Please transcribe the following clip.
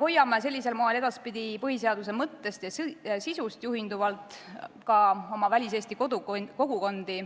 Hoiame sellisel moel edaspidi kinni põhiseaduse mõttest ja sisust juhinduvalt hoiame oma väliseesti kogukondi